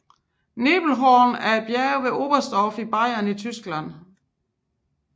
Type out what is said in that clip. Nebelhorn er et bjerg ved Oberstdorf i Bayern i Tyskland